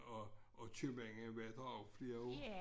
Og og købmanden var der jo i flere år